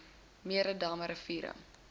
mere damme riviere